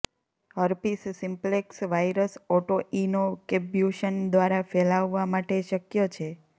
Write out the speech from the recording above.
herpes simplex virus autoinoculation દ્વારા ફેલાવવા માટે શક્ય છે